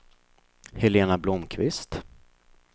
Helena Blomkvist